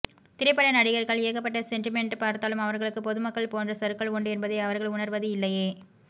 திரைப்பட நடிகர்கள் ஏகப்பட்ட செண்டிமெண்ட் பார்த்தாலும் அவர்களுக்கு பொதுமக்கள் போன்ற சறுக்கல் உண்டு என்பதை அவர்கள் உணர்வது இல்லையே